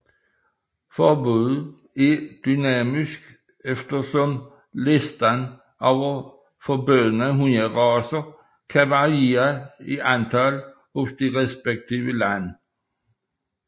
Forbuddet er dynamisk eftersom listen over forbudte hunderacer kan variere i antal hos de respektive lande